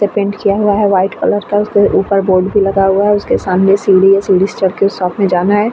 से पेंट किया हुआ है वाइट कलर का। उसके ऊपर बोर्ड भी लगा हुआ है। उसके सामने सीढ़ी है। सीढ़ी से चढ़के उस शॉप में जाना है।